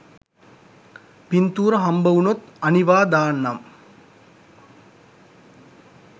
පින්තූර හම්බ උනොත් අනිවා දාන්නම්.